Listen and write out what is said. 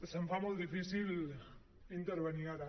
se’m fa molt difícil intervenir ara